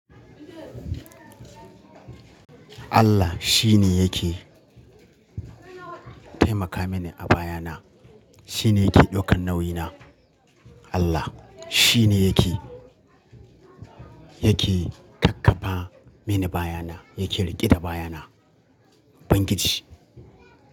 Allah shi ne yake taimaka mini a bayana. Shi ne yake daukar nauyi na. Allah shi ne yake, yake kakkafa mini bayana, yake rike da bayana. Banƙici.